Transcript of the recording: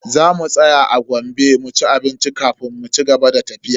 Za mu tsaya a Gombe mu ci abinci kafin mu cigaba da tafiya.